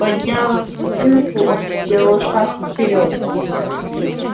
подняв дубинку он сделал шаг вперёд